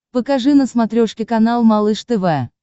покажи на смотрешке канал малыш тв